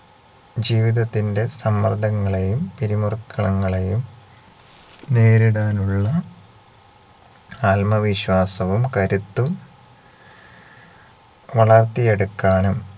ജീവിതത്തിന്റെ സമ്മർദങ്ങളെയും പിരിമുറുക്കളങ്ങളെയും നേരിടാനുള്ള ആത്മവിശ്വാസവും കരുത്തും വളർത്തിയെടുക്കാനും